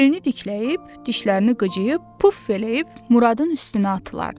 Belini dikləyib, dişlərini qıcıyıb, puf eləyib Muradın üstünə atılırdı.